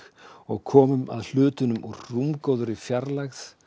og komum að hlutunum úr rúmgóðri fjarlægð